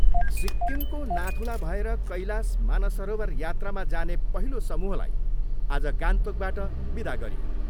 सिक्किमको नाथुला भएर कैलाश मानसरोवर यात्रामा जाने पहिलो समूहलाई आज गान्तोकबाट विदा गरियो।